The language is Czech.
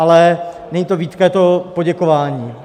Ale není to výtka, je to poděkování.